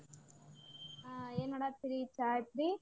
ಹಾ ಏನ ಮಾಡಾತೇರಿ ಚಾ ಅಯ್ತ್ರಿ?